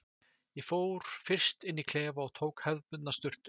Ég fór fyrst inn í klefa og tók hefðbundna sturtu.